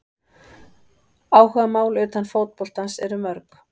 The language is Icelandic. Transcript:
Áhugamál utan fótboltans eru mörg.